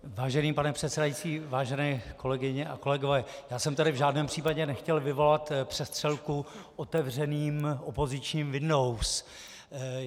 Vážený pane předsedající, vážené kolegyně a kolegové, já jsem tady v žádném případě nechtěl vyvolat přestřelku otevřeným opozičním windows.